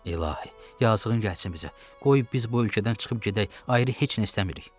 İlahi, yazığın gəlsin bizə, qoy biz bu ölkədən çıxıb gedək, ayrı heç nə istəmirik.